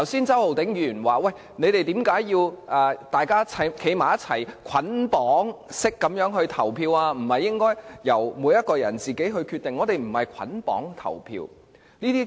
周浩鼎議員剛才問我們為何要作出捆綁式投票，不是應該由每一個人自行決定投票意向嗎？